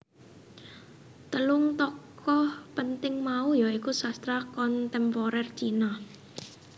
Telung tokoh penting mau ya iku Sastra Kontemporer Cina